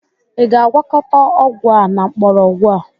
Ị ga-agwakọta ọgwụ a na mgbọrọgwụ a?